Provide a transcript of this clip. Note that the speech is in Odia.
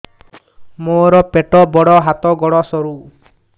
ମୋର ପେଟ ବଡ ହାତ ଗୋଡ ସରୁ